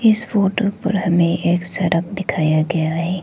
इस फोटो पर हमें एक सड़क दिखाया गया है।